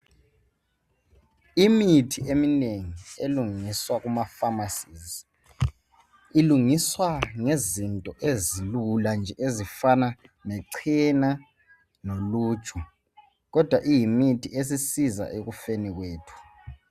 Imithi eminengi elungiswa ema Famasi , ilungiswa ngezinto ezilula nje ezifana lechena loluju kodwa iyimithi esisiza ekufeni kwethu.